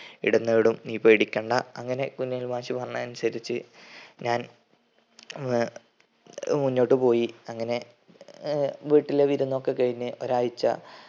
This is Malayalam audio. ഇടം നേടും നീ പേടിക്കണ്ട. അങ്ങനെ കുഞ്ഞലവി മാഷ് പറഞ്ഞതനുസരിച് ഞാൻ ഏർ മുന്നോട്ട് പോയി അങ്ങനെ അഹ് വീട്ടിലെ വിരുന്നൊക്കെ കഴിഞ് ഒരാഴ്ച